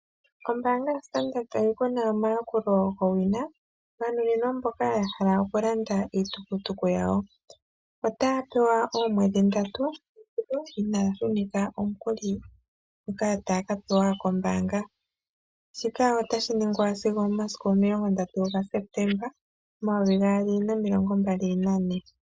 Ombaanga yoStandard bank oyi kuna omayakulo go wina, ganuninwa mboka ya hala oku landa iitukutuku yawo. Otaya pewa oomwedhi ndatu, inaya shunitha omukuli ngoka taya ka pewa kombaanga. Shika otashi ningwa sigo omomasiku omilongo ndatu gaSeptemba omayovi gaali nomilongo mbali nane.